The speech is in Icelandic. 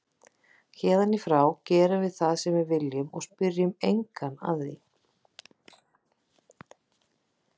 Héðan í frá gerum við það sem við viljum og spyrjum engan að því.